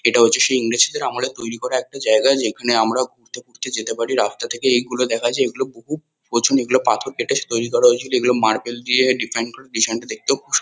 এটা হচ্ছে সেই ইংরেজদের আমলে তৈরী করা একটি জায়গা। যেখানে আমরা ঘুরতে ফুরতে যেতে পারি। রাস্তা থেকে এগুলো দেখা যায়। এগুলো বহু এগুলো পাথর কেটে তৈরী করা হয়েছিলো। এগুলো মার্বেল দিয়ে ডিফাইন করা ডিজাইন টা দেখতেও খুব--